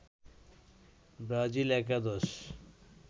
Brazil একাদশ